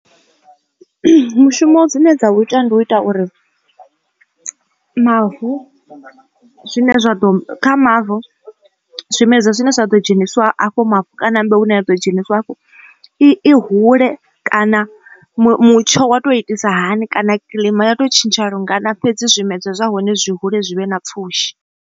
Mushumo dzine dza u ita ndi u ita uri mavu zwine zwa ḓo kha mavu zwimedzwa zwine zwa ḓo dzhenisiwa afho hu hafhu kana mbeu ine ya ḓo dzheniswa afho i hule kana mutsho wa to itisa hani kana kilima ya to tshintsha lungana fhedzi zwimedzwa zwa hone zwi hule zwi vhe na pfhushi.